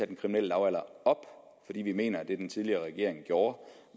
den kriminelle lavalder op fordi vi mener at det den tidligere regering gjorde